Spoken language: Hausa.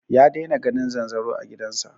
Ya daina ganin zanzaro a gidan sa